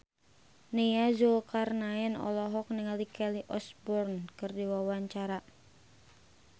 Nia Zulkarnaen olohok ningali Kelly Osbourne keur diwawancara